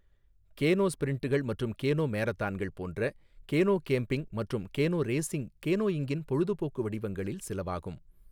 Canoe ஸ்ப்ரிண்ட்கள் மற்றும் canoe மேரத்தான்கள் போன்ற கேனோ கேம்பிங் மற்றும் கேனோ ரேசிங் கேனோயிங்கின் பொழுதுபோக்கு வடிவங்களில் சிலவாகும்.